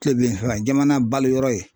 Kile binfanga jamana balo yɔrɔ ye.